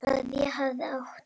Að ég hafi átt.?